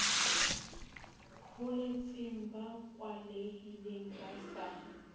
holetseng ba kwalehile ba sa